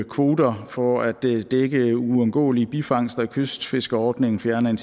kvoter for at dække uundgåelige bifangster i kystfiskerordningen fjerne